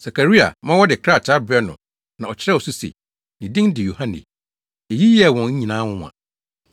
Sakaria ma wɔde krataa brɛɛ no na ɔkyerɛw so se, “Ne din de Yohane.” Eyi yɛɛ wɔn nyinaa nwonwa.